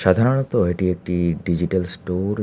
সাধারণত এটি একটি ডিজিটাল স্টোর ।